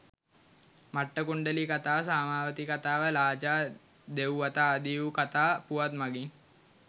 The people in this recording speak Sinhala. මට්ඨකුණ්ඩලී කතාව, සාමාවතී කතාව, ලාජා දෙව් වත ආදී වූ කතා පුවත් මගින්